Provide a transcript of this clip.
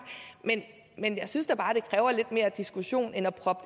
men jeg synes da bare det kræver lidt mere diskussion end at proppe